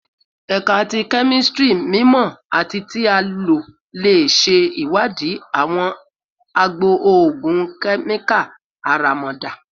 Ẹka ti Kemistri mimọ ati ti a lo le ṣe iwadii awọn agbo ogun kemikali aramada